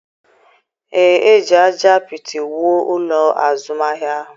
Ee, e ji ájá apịtị wuo ụlọ azụmahịa ahụ.